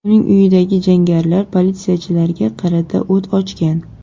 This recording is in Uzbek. Uning uyidagi jangarilar politsiyachilarga qarata o‘t ochgan.